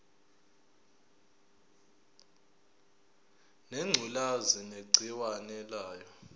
ngengculazi negciwane layo